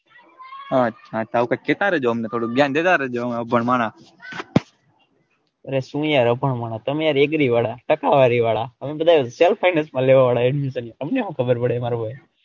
અચ્છા કેતા રેજો અમને થોડું જ્ઞાન દેતા રેજો ભણવાના અરે સુ યાર અભણ માણસ તમે યાર એગ્રી વાળા ટકાવારી વાળા અમે બધા self finance માં લેવા વાડા admission અમને હું ખબર પડે મારા ભાઈ.